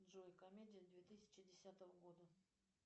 джой комедия две тысячи десятого года